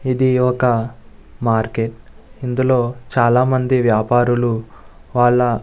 ఇది ఒక మార్కెట్ ఇందులో చాల మంది వ్యాపరులు వాళ్ళ --